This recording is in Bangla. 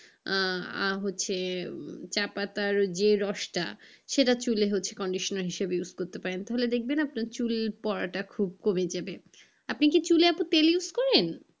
আহ আহ হচ্ছে চা পাতার যে রসটা সেটা চুলে হচ্ছে কন্ডিশনার হিসেবে use করতে পারেন, ধুলে দেখবেন চুল পড়াটা খুব কমে যাবে। আপনি কি চুলে আপু তেল use করেন?